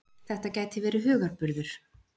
Þetta gæti verið hugarburður.